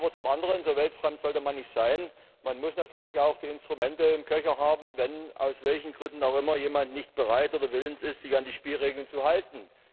Aber zum anderen so weltfremd sollte man nicht sein muss man natürlich auch die Instrumente im Köcher haben, wenn, aus welchen Gründen auch immer, jemand nicht bereit oder willens ist, sich an die Spielregeln zu halten.